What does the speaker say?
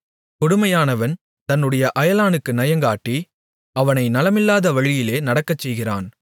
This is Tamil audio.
கொடுமையானவன் தன்னுடைய அயலானுக்கு நயங்காட்டி அவனை நலமல்லாத வழியிலே நடக்கச்செய்கிறான்